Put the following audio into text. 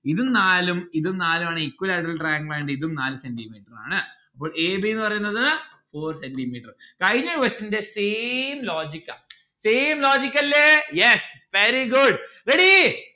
ഇത് നാലും ഇത് നാലുമാണ് equilateral triangle ഇതും നാല് cwenti metre ആണ്. അപ്പോൾ a b ന്ന്‌ പറയുന്നത് four centi metre കഴിഞ്ഞ question ന്റെ same logic ആ same logic അല്ലെ yes, very good, ready